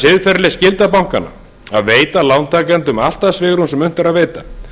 siðferðileg skylda bankanna að veita lántakendum allt það svigrúm sem unnt er að veita